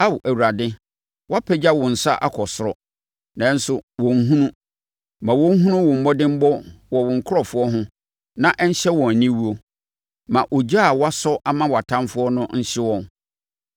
Ao Awurade, wɔapagya wo nsa akɔ ɔsoro, nanso wɔnhunu. Ma wɔnhunu wo mmɔdemmɔ wɔ wo nkurɔfoɔ ho na ɛnhyɛ wɔn aniwuo; ma ogya a woasɔ ama wʼatamfoɔ no nhye wɔn.